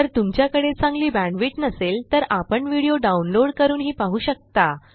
जर तुमच्याकडे चांगली बॅण्डविड्थ नसेल तर आपण व्हिडिओ डाउनलोड करूनही पाहू शकता